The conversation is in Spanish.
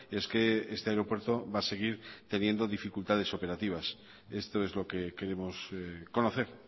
es que este aeropuerto va a seguir teniendo dificultades operativas esto es lo que queremos conocer